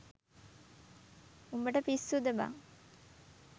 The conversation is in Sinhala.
උඹට පිස්සුද බං.